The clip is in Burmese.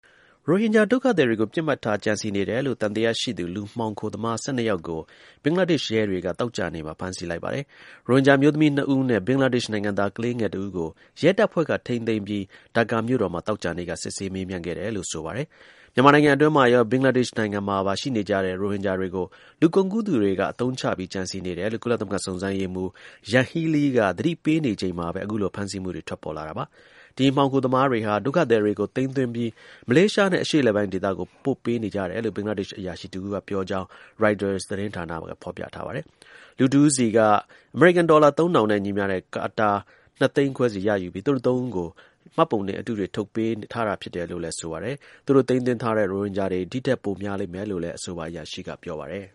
ရိုဟင်ဂျာ ဒုက္ခသည်တွေကို ပစ်မှတ်ထား ကြံစည်နေတယ်လို့ သံသယရှိသူ လူမှောင်ခိုသမား ၁၂ ယောက်ကို ဘင်္ဂလားဒေ့ရှ် ရဲတွေက သောကြာနေ့မှာ ဖမ်းဆီးလိုက်ပါတယ်။ ရိုဟင်ဂျာအမျိုးသမီး နှစ် ဦးနဲ့ ဘင်္ဂလားဒေ့ရှ်နိုင်ငံသား ကလေးငယ် တဦးကို ရဲတပ်ဖွဲ့က ထိန်းသိမ်းပြီး ဒါကာမြို့တော်မှာ သောကြာနေ့က စစ်ဆေးမေးမြန်းခဲ့တယ်လို့ ဆိုပါတယ်။ မြန်မာနိုင်ငံတွင်းမှာရော ဘင်္ဂလားဒေ့ရှ်နိုင်ငံမှာပါ ရှိနေကြတဲ့ ရိုဟင်ဂျာတွေကို လူကုန်ကူးသူတွေက အသုံးချဖို့ ကြံစည်နေတယ်လို့ ကုလသမဂ္ဂစုံစမ်းရေးမှူး Yanghee Lee က သတိပေးနေချိန်မှာပဲ အခုလို ဖမ်းဆီးမှုတွေ ပေါ်ထွက်လာတာပါ။ ဒီ လူမှောင်ခိုသမားတွေဟာ ဒုက္ခသည်တွေကို သိမ်းသွင်းပြီး မလေးရှားနဲ့ အရှေ့အလယ်ပိုင်းဒေသကို ပို့ပေးနေကြတယ်လို့ ဘင်္ဂလားဒေ့ရှ် အရာရှိတဦးကပြောကြောင်း ရိုက်တာသတင်းဌာနက ဖေါ်ပြပါတယ်။ လူတဦးဆီက အမေရိကန်ဒေါ်လာ ၃,၀၀၀ နဲ့ ညီမျှတဲ့ တာကာ နှစ် သိန်းခွဲစီ ရယူပြီး သူတို့ သုံးဦးကို မှတ်ပုံတင်အတုတွေ ထုတ်ပေးထားတယ်လို့လည်း ဆိုပါတယ်။ သူတို့ သိမ်းသွင်းထားတဲ့ ရိုဟင်ဂျာတွေ ဒီထက်ပိုများလိမ့်မယ်လို့လည်း အဆိုပါ အရာရှိက ပြောပါတယ်